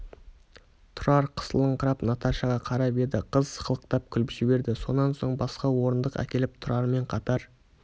тұрар қысылыңқырап наташаға қарап еді қыз сықылықтап күліп жіберді сонан соң басқа орындық әкеліп тұрармен қатар